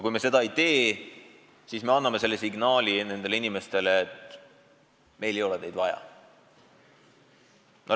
Kui me seda ei tee, siis me anname nendele inimestele signaali, et meil ei ole neid vaja.